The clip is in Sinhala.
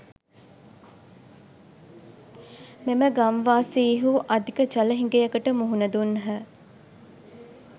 මෙම ගම්වාසීහු අධික ජල හිඟයකට මුහුණ දුන්හ